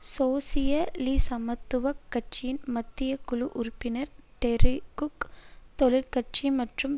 சோசியலிச சமத்துவ கட்சியின் மத்திய குழு உறுப்பினர் டெரி குக் தொழிற்கட்சி மற்றும்